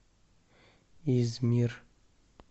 измир